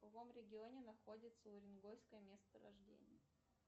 в каком регионе находится уренгойское месторождение